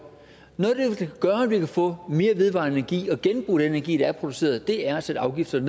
vi kan få mere vedvarende energi og genbruge den energi der er produceret er at sætte afgifterne